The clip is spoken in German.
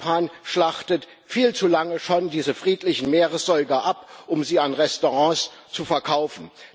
Japan schlachtet viel zu lange schon diese friedlichen Meeressäuger ab, um sie an Restaurants zu verkaufen.